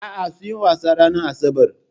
A'a, sunyi wasan ranar asabar.